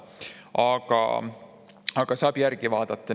Aga seda saab järele vaadata.